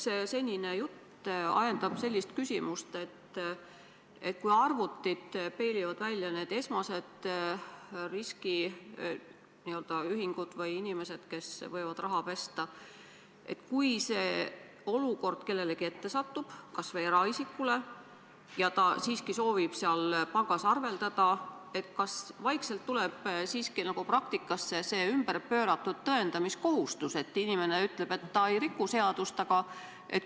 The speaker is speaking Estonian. Kogu senine jutt ajendab küsima sellist küsimust, et kui arvutid peilivad välja esmased riskiga ühingud või inimesed, kes võivad raha pesta, ja kui keegi sellisesse olukord satub, kas või eraisik, ja ta siiski soovib seal pangas arveldada, siis kas vaikselt tuleb praktikasse ümberpööratud tõendamiskohustus, et inimene ütleb, et ta ei riku seadust, aga ...?